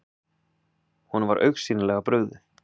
Honum var augsýnilega brugðið.